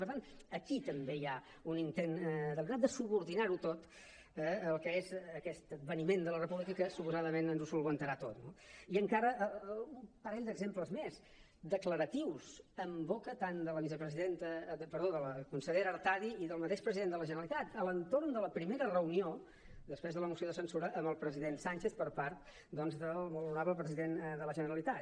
per tant aquí també hi ha un intent deliberat de subordinar ho tot al que és aquest adveniment de la república que suposadament ens ho solucionarà tot no i encara un parell d’exemples més declaratius en boca tant de la consellera artadi com del mateix president de la generalitat a l’entorn de la primera reunió després de la moció de censura amb el president sánchez per part doncs del molt honorable president de la generalitat